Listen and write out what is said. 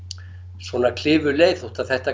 svona klifurleið þótt þetta